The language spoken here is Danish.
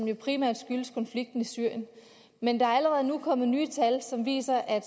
jo primært skyldes konflikten i syrien men der er allerede nu kommet nye tal som viser at